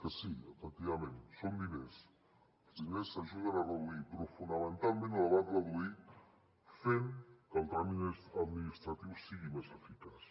que sí efectivament són diners els diners ajuden a reduir però fonamentalment les van reduir fent que el tràmit administratiu fos més eficaç